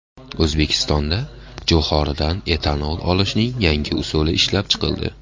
O‘zbekistonda jo‘xoridan etanol olishning yangi usuli ishlab chiqildi.